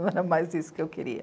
Não era mais isso que eu queria.